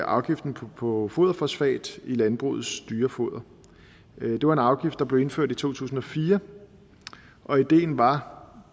afgiften på foderfosfat i landbrugets dyrefoder det var en afgift der blev indført i to tusind og fire og ideen var